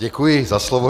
Děkuji za slovo.